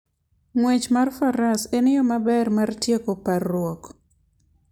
Ng'wech mar Faras en yo maber mar tieko parruok.